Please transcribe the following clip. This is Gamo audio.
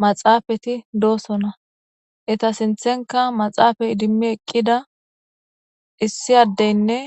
maxaafati doosona eta sinthenka maxaafay idimmi eqqida issi addeynne